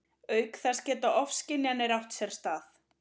Auk þess geta ofskynjanir átt sér stað.